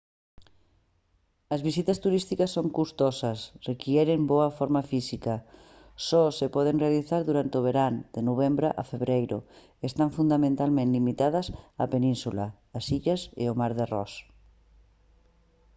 as visitas turísticas son custosas requiren boa forma física só se poden realizar durante o verán de novembro a febreiro e están fundamentalmente limitadas á península as illas e o mar de ross